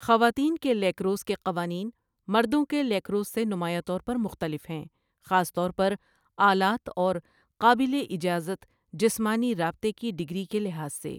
خواتین کے لیکروس کے قوانین مردوں کے لیکروس سے نمایاں طور پر مختلف ہیں، خاص طور پر آلات اور قابل اجازت جسمانی رابطے کی ڈگری کے لحاظ سے۔